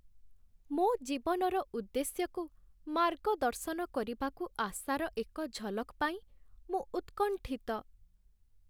ମୋ ଜୀବନର ଉଦ୍ଦେଶ୍ୟକୁ ମାର୍ଗଦର୍ଶନ କରିବାକୁ ଆଶାର ଏକ ଝଲକ୍ ପାଇଁ ମୁଁ ଉତ୍କଣ୍ଠିତ।